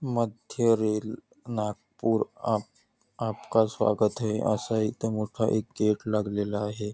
मध्य रेल नागपूर आप आपका स्वागत है असा इथे मोठा एक गेट लागलेला आहे.